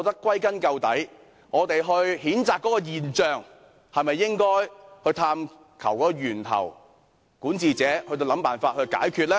歸根究底，在譴責這些現象時，管治者是否應探求源頭，然後設法解決呢？